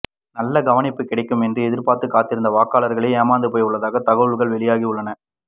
நல்ல கவனிப்பு கிடைக்கும் என்று எதிர்பார்த்து காத்திருந்த வாக்காளர்களோ ஏமாந்து போயுள்ளதாக தகவல்கள் வெளியாகியுள்ளன